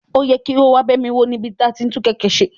O yẹ ki o wa ba mi wo ni ibi ti ati n tun keke ṣe.